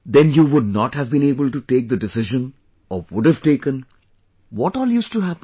Then you would not have been able to take the decision or would have taken, what all used to happen